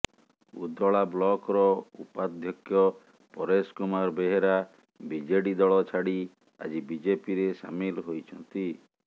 ଉଦଳା ବ୍ଲକର ଉପାଧ୍ୟକ୍ଷ ପରେଶ କୁମାର ବେହେରା ବିଜେଡି ଦଳ ଛାଡି ଆଜି ବିଜେପିରେ ସାମିଲ ହୋଇଛନ୍ତି